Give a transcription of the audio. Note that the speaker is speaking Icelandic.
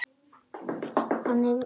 Þannig var mamma ávallt.